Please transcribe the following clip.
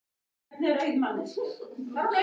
Hvað eru mörg svona svæði á landinu öllu?